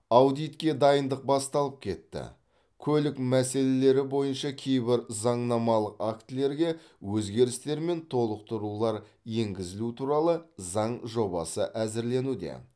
аудитке дайындық басталып кетті көлік мәселелері бойынша кейбір заңнамалық актілерге өзгерістер мен толықтырулар енгізілу туралы заң жобасы әзірленуде